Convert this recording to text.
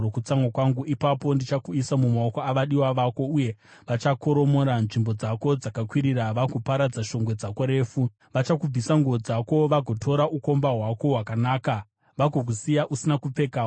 Ipapo ndichakuisa mumaoko avadiwa vako, uye vachakoromora nzvimbo dzako dzakakwirira vagoparadza shongwe dzako refu. Vachakubvisa nguo dzako vagotora ukomba hwako hwakanaka vagokusiya usina kupfeka wakashama.